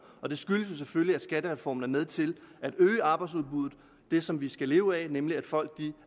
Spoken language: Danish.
og det skyldes selvfølgelig at skattereformen er med til at øge arbejdsudbuddet det som vi skal leve af nemlig at folk